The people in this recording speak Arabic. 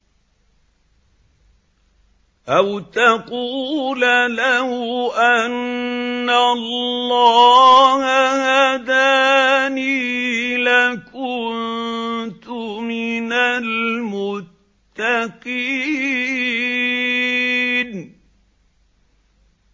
أَوْ تَقُولَ لَوْ أَنَّ اللَّهَ هَدَانِي لَكُنتُ مِنَ الْمُتَّقِينَ